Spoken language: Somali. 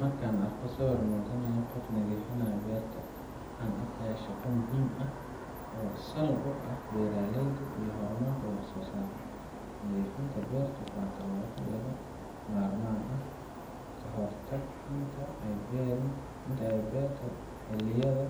Markaan arko sawir muujinaayo qof nadifinaayo beerta, waxaan arkayaa shaqo muhim oo sal u ah beraleyda iyo hormarka wax sosaarka nadifinta beertu waa tallabo laga marmaan ka hortag intaay ay beerta xiliyada